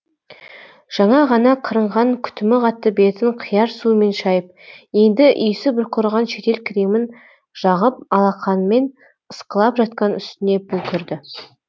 жаңа ғана қырынған күтімі қатты бетін қияр суымен шайып енді исі бұрқыраған шетел кремін жағып алақанмен ысқылап жатқан үстіне бұл кірді